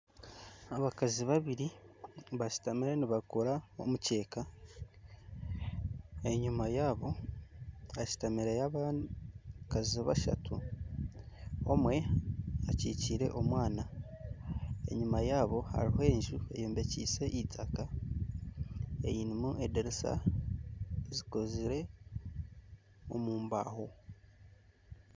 Abakazi babiri bashutamire nibakora omukyeeka enyuma yaabo hastumaireho abandi abakazi bashatu omwe akikire omwana enyuma yaabo hariho enju eyombekise eitaaka erimu ediriisa zikozirwe omu mbaaho.